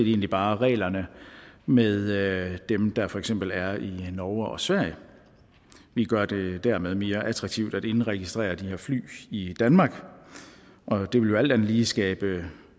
egentlig bare reglerne med dem der for eksempel er i norge og sverige vi gør det dermed mere attraktivt at indregistrere de her fly i danmark og det vil jo alt andet lige skabe